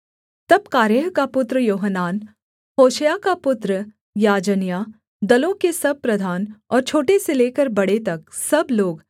तब कारेह का पुत्र योहानान होशायाह का पुत्र याजन्याह दलों के सब प्रधान और छोटे से लेकर बड़े तक सब लोग